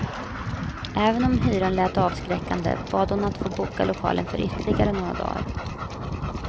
Även om hyran lät avskräckande, bad hon att få boka lokalen för ytterligare några dagar.